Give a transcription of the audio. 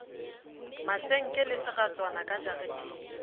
masenke le seratswana ka jareteng